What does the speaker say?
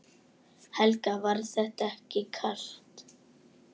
Helga: Var þetta ekki kalt?